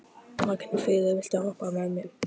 Magnfríður, viltu hoppa með mér?